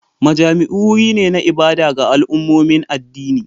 Majami'u wuri ne na ibada ga al'ummomin addini